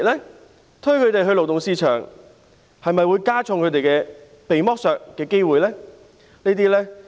政府推動他們加入勞動市場，會否增加他們被剝削的機會呢？